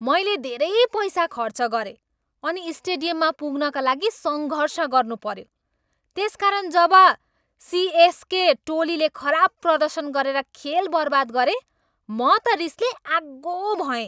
मैले धेरै पैसा खर्च गरेँ अनि स्टेडियममा पुग्नका लागि सङ्घर्ष गर्नुपऱ्यो। त्यसकारण, जब सिएसके टोलीले खराब प्रदर्शन गरेर खेल बर्बाद गरे, म त रिसले आगो भएँ।